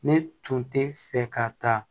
Ne tun tɛ fɛ ka taa